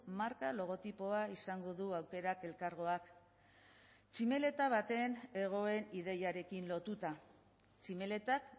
marka logotipoa izango du aukerak elkargoak tximeleta baten hegoen ideiarekin lotuta tximeletak